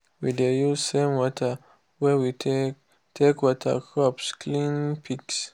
we dey use the same water wey we take take water crops clean pigs.